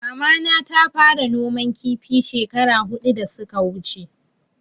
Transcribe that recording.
Mama na ta fara noman kifi shekara hudu da suka wuche